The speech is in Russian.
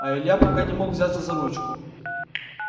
а илья пока не мог взяться за ручку